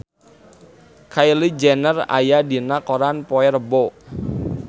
Kylie Jenner aya dina koran poe Rebo